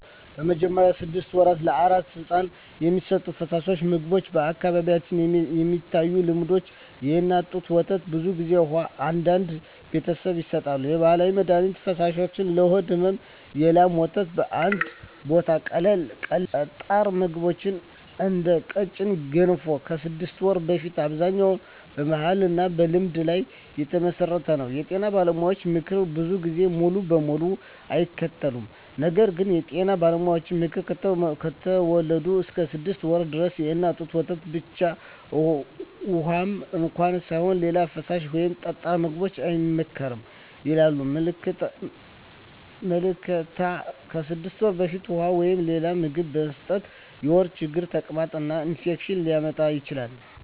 በመጀመሪያዎቹ 6 ወራት ለአራስ ሕፃን የሚሰጡ ፈሳሾች/ምግቦች በአካባቢዎች የሚታዩ ልምዶች፦ የእናት ጡት ወተት (ብዙ ጊዜ) ውሃ (አንዳንድ ቤተሰቦች ይሰጣሉ) የባህላዊ መድሀኒት ፈሳሾች (ለሆድ ሕመም) የላም ወተት (በአንዳንድ ቦታዎች) ቀላል ጠጣር ምግቦች (እንደ ቀጭን ገንፎ) ከ6 ወር በፊት አብዛኛው በባህልና በልምድ ላይ የተመሠረተ ነው የጤና ባለሙያዎች ምክር ብዙ ጊዜ ሙሉ በሙሉ አይከተልም ነገር ግን የጤና ባለሙያዎች ምክር፦ ከተወለዱ እስከ 6 ወር ድረስ የእናት ጡት ወተት ብቻ (ውሃም እንኳ ሳይሆን) ሌላ ፈሳሽ ወይም ጠጣር ምግብ አይመከርም ያለኝ ምልከታ ከ6 ወር በፊት ውሃ ወይም ሌላ ምግብ መስጠት የሆድ ችግር፣ ተቅማጥ እና ኢንፌክሽን ሊያመጣ ይችላል